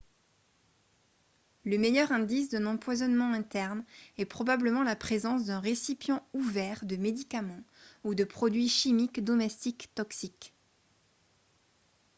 le meilleur indice d'un empoisonnement interne est probablement la présence d'un récipient ouvert de médicaments ou de produits chimiques domestiques toxiques